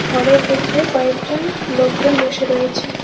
ঘরের ভিতরে কয়েকজন লোকজন বসে রয়েছে।